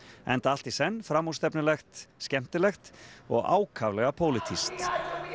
enda allt í senn framúrstefnulegt skemmtilegt og ákaflega pólitískt